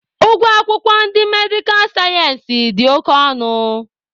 Ụgwọ akwụkwọ ndị medikal sayensị dị oke ọnụ